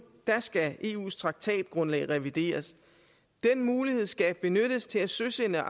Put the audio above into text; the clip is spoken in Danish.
skal eus traktatgrundlag revideres den mulighed skal benyttes til at søsætte